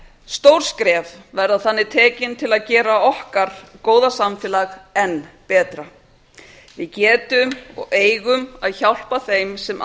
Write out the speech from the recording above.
stór skref verða þannig tekin til að gera okkar góða samfélag enn betra við getum og eigum að hjálpa þeim sem